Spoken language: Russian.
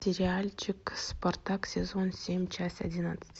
сериальчик спартак сезон семь часть одиннадцать